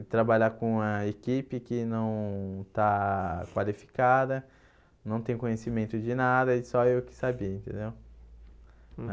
E trabalhar com uma equipe que não está qualificada, não tem conhecimento de nada, e só eu que sabia, entendeu?